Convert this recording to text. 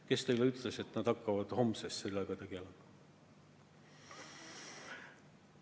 Kes teile ütles, et nad hakkavad homsest sellega tegelema?